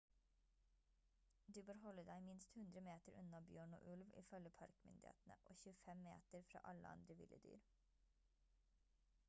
du bør holde deg minst 100 meter unna bjørn og ulv ifølge parkmyndighetene og 25 meter fra alle andre ville dyr